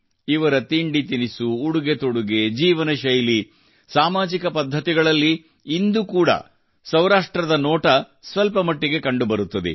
ಇವರ ತಿಂಡಿತಿನಿಸು ಉಡುಗೆತೊಡುಗೆ ಜೀವನ ಶೈಲಿ ಸಾಮಾಜಿಕ ಪದ್ಧತಿಗಳಲ್ಲಿ ಇಂದು ಕೂಡಾ ಸೌರಾಷ್ಟ್ರದ ನೋಟ ಸ್ವಲ್ಪ ಮಟ್ಟಿಗೆ ಕಂಡುಬರುತ್ತದೆ